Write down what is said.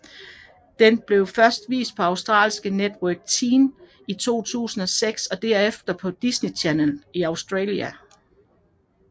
Den blev først vist på australske Network Ten i 2006 og derefter på Disney Channel Australia